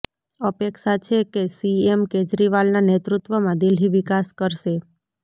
અપેક્ષા છે કે સીએમ કેજરીવાલના નેતૃત્વમાં દિલ્હી વિકાસ કરશે